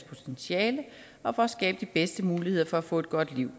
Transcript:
potentiale og at skabe de bedste muligheder for at få et godt liv